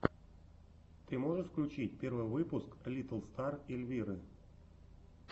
ты можешь включить первый выпуск литтл стар эльвиры